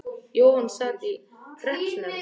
Jóhann sat í hreppsnefnd.